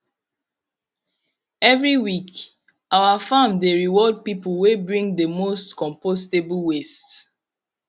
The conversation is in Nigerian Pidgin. every week our farm dey reward people wey bring the most compostable waste